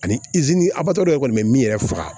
Ani abato yɛrɛ kɔni bɛ min yɛrɛ faga